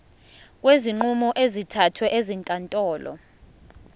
kwezinqumo ezithathwe ezinkantolo